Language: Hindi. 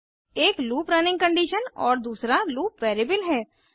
एक लूप रनिंग कंडीशन और दूसरा लूप वैरिएबल है